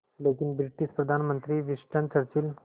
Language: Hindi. लेकिन ब्रिटिश प्रधानमंत्री विंस्टन चर्चिल